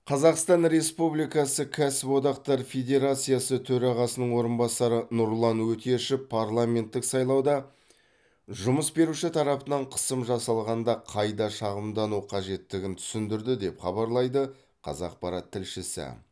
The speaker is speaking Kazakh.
қазақстан республикасы кәсіподақтар федерациясы төрағасының орынбасары нұрлан өтешев парламенттік сайлауда жұмыс беруші тарапынан қысым жасалғанда қайда шағымдану қажеттігін түсіндірді деп хабарлайды қазақпарат тілшісі